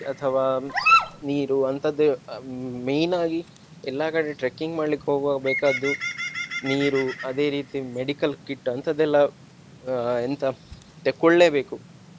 ಅಥವಾ ನೀರು ಅಂತದ್ದೇ main ಆಗಿ ಎಲ್ಲಾ ಕಡೆ trekking ಮಾಡ್ಲಿಕ್ಕೆ ಹೋಗುವಾಗ ಬೇಕಾದ್ದು ನೀರು ಅದೇ ರೀತಿ medical kit ಅಂತದೆಲ್ಲ ಅಹ್ ಎಂತ ತೆಕೊಳ್ಳೇಬೇಕು.